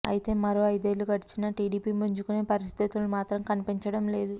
అయితే మరో ఐదేళ్ళు గడిచినా టీడీపీ పుంజుకునే పరిస్థితులు మాత్రం కనిపించడంలేదు